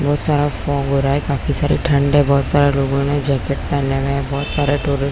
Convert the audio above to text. बहोत सारा फाग हो रहा है काफी सारी ठंड है बहोत सारे लोगों ने जैकेट पहना हुआ है बहोत सारे टूरिस्ट --